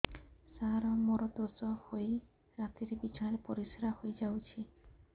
ସାର ମୋର ଦୋଷ ହୋଇ ରାତିରେ ବିଛଣାରେ ପରିସ୍ରା ହୋଇ ଯାଉଛି